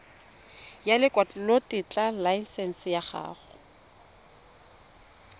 ya lekwalotetla laesense ya go